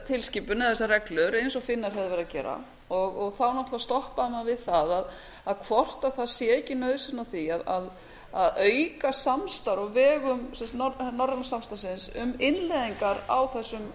tilskipun eða þessa reglur eins og finnar höfðu verið að gera þá náttúrlega stoppaði maður við það hvort það sé ekki nauðsyn á því að auka samstarf á vegum norræna samstarfsins um innleiðingar á þessum